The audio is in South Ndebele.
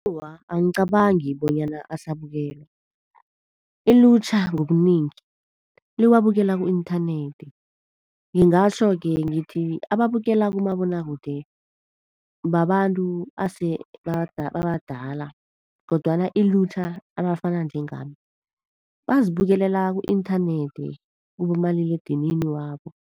Awa, angicabangi bonyana asabukelwa. Ilutjha ngobunengi liwabukela ku-inthanethi. Ngingatjho-ke ngithi ababukela kumabonwakude babantu asebabadala kodwana ilutjha abafana njengami bazibukela ku-inthanethi, kubomaliledinini wabo.